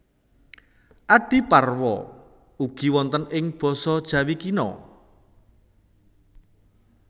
Adiparwa ugi wonten ing basa Jawi Kina